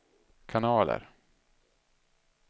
kanaler